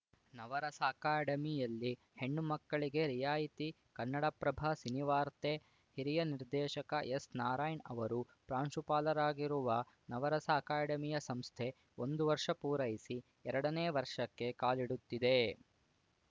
ನವರಸ ಅಕಾಡೆಮಿಯಲ್ಲಿ ಹೆಣ್ಣು ಮಕ್ಕಳಿಗೆ ರಿಯಾಯಿತಿ ಕನ್ನಡಪ್ರಭ ಸಿನಿವಾರ್ತೆ ಹಿರಿಯ ನಿರ್ದೇಶಕ ಎಸ್‌ ನಾರಾಯಣ್‌ ಅವರು ಪ್ರಾಂಶುಪಾಲರಾಗಿರುವ ನವರಸ ಅಕಾಡೆಮಿಯ ಸಂಸ್ಥೆ ಒಂದು ವರ್ಷ ಪೂರೈಸಿ ಎರಡನೇ ವರ್ಷಕ್ಕೆ ಕಾಲಿಡುತ್ತಿದೆ